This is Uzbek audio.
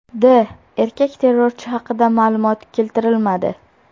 D. Erkak terrorchi haqida ma’lumot keltirilmadi.